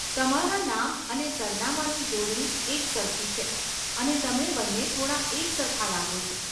તમારા નામ અને સરનામાંની જોડણી એકસરખી છે, અને તમે બંને થોડા એકસરખા લાગો છો.